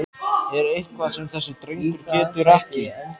Er eitthvað sem þessi drengur getur ekki?!